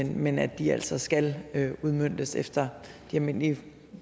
men at de altså skal udmøntes efter de almindelige